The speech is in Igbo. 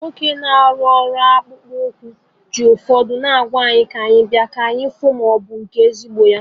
Nwoke na-arụ ọrụ ọkpụkpụ anụ ji ụfọdụ ngwa ahịa abịa, ka anyị fu ma ịbụkwa nke ezigbo